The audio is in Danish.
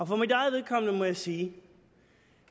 for mit eget vedkommende må jeg sige